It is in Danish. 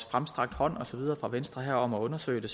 fremstrakt hånd og så videre fra venstre om at undersøge det